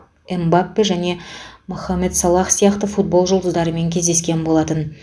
мбаппе және мохамед салах сияқты футбол жұлдыздарымен кездескен болатын